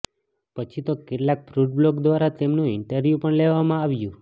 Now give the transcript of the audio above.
પછી તો કેટલાક ફૂડ બ્લોગ દ્વારા તેમનું ઈન્ટર્વ્યુ પણ લેવામાં આવ્યું